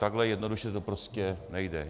Takhle jednoduše to prostě nejde.